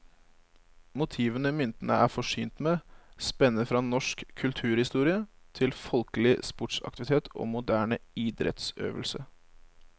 Motivene myntene er forsynt med, spenner fra norsk kulturhistorie til folkelig sportsaktivitet og moderne idrettsøvelse.